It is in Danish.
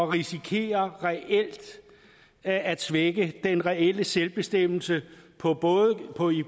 risikerer at svække den reelle selvbestemmelse